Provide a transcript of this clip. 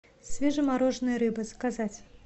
свежемороженная рыба заказать